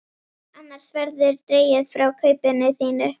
Annars verður dregið frá kaupinu þínu.